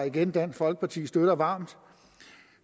igen dansk folkeparti støtter varmt